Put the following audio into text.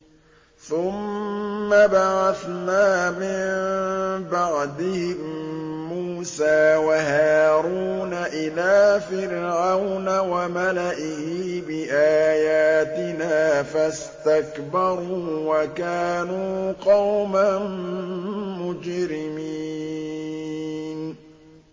ثُمَّ بَعَثْنَا مِن بَعْدِهِم مُّوسَىٰ وَهَارُونَ إِلَىٰ فِرْعَوْنَ وَمَلَئِهِ بِآيَاتِنَا فَاسْتَكْبَرُوا وَكَانُوا قَوْمًا مُّجْرِمِينَ